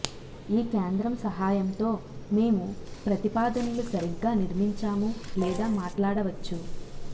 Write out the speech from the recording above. ఈ కేంద్రం సహాయంతో మేము ప్రతిపాదనలు సరిగ్గా నిర్మించాము లేదా మాట్లాడవచ్చు